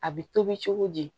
A bɛ tobi cogo di